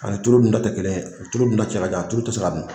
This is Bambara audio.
Ani tulu dunta tɛ kelen tulu dunta cɛ ka jan a tulu tɛ se ka dun